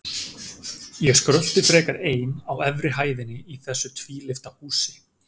Ég skrölti frekar ein á efri hæðinni í þessu tvílyfta húsi.